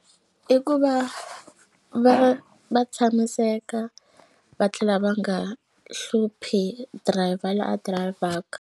I ku va va va tshamiseka va tlhela va nga hluphi dirayivha la a dirayivhaka.